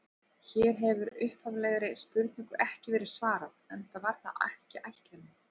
Hér hefur upphaflegri spurningu ekki verið svarað, enda var það ekki ætlunin.